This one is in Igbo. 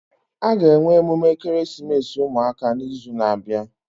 Aga enwe emume ekeresimesi ụmụaka na izu na abịa